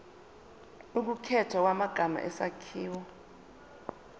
ukukhethwa kwamagama isakhiwo